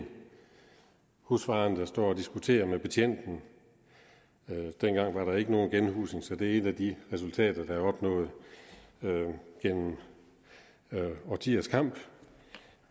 husfaren der står og diskuterer med betjenten dengang var der ikke nogen genhusning så det er et af de resultater der er opnået gennem årtiers kamp